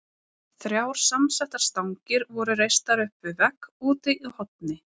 Þrjár samsettar stangir voru reistar upp við vegg úti í horni.